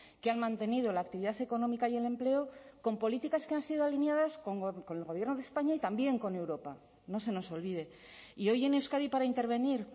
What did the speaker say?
que han mantenido la actividad económica y el empleo con políticas que han sido alineadas con el gobierno de españa y también con europa no se nos olvide y hoy en euskadi para intervenir